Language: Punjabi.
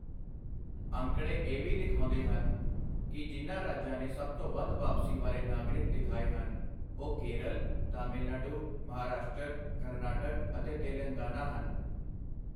ਅੰਕੜੇ ਇਹ ਵੀ ਦਿਖਾਉਂਦੇ ਹਨ ਕਿ ਜਿਨ੍ਹਾਂ ਰਾਜਾਂ ਨੇ ਸਭ ਤੋਂ ਵੱਧ ਵਾਪਸੀ ਵਾਲੇ ਨਾਗਰਿਕ ਦਿਖਾਏਹਨ, ਉਹ ਕੇਰਲ, ਤਮਿਲਨਾਡੂ, ਮਹਾਰਾਸ਼ਟਰ, ਕਰਨਾਟਕ ਅਤੇ ਤੇਲੰਗਾਨਾ ਹਨ।